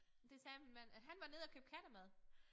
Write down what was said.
Det sagde min mand at han var nede at købe kattemad